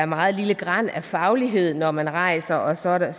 meget lille gran af faglighed når man rejser og så er der